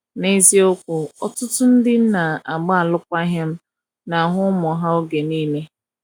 na eziokwu, ọtụtụ ndi nna agba alụkwaghim na ahụ ụmụ ha oge niile